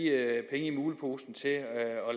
muleposen til at